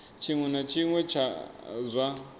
tshiṅwe na tshiṅwe tsha zwa